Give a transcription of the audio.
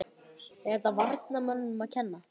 Er þetta varnarmönnunum að kenna?